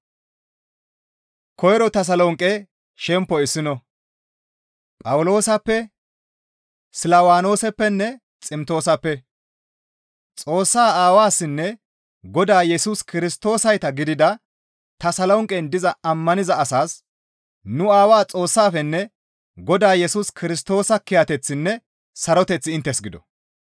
Phawuloosappe, Silwaanoosappenne Ximtoosappe; Xoossaa Aawassinne Godaa Yesus Kirstoosayta gidida Tasolonqen diza ammaniza asaas nu Aawaa Xoossaafenne Godaa Yesus Kirstoosa kiyateththinne saroteththi inttes gido.